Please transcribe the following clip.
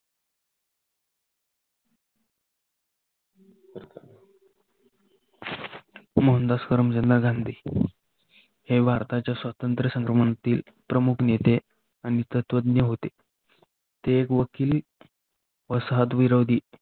मोहनदास करमचंद गांधी ही भारताच्या स्वातंत्र्य संभ्रमनातील प्रमुख नेते आणि तत्वज्ञ होते. ते एक वकील वसाहत, विरोधी